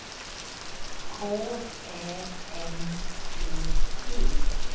K Ä M P E